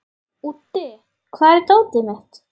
Úddi, hvar er dótið mitt?